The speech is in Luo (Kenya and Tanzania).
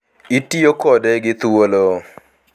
Itiyo kode gi thuolo.